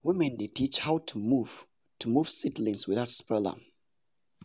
women dey teach how to move to move seedlings without spoil am.